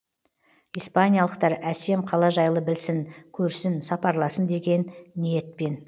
испаниялықтар әсем қала жайлы білсін көрсін сапарласын деген ниетпен